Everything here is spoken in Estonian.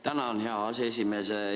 Tänan, hea aseesimees!